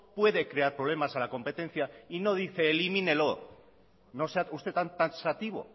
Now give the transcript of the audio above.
puede crear problemas a la competencia y no dice elimínelo no sea usted tan sativo